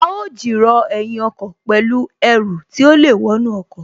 A ó jìrọ̀ ẹ̀yìn ọkọ̀ pẹ̀lú Ẹru tí ó lè wọnú ọkọ̀